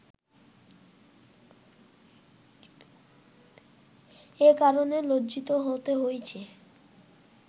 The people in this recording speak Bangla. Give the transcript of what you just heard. এ কারণে লজ্জিত হতে হয়েছে